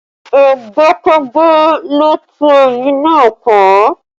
Ẹgbẹ́kẹ́gbẹ́ ló tú ẹbí náà ká